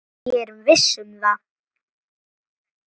Ég er viss um það.